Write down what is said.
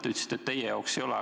Te ütlesite, et teie jaoks ei ole.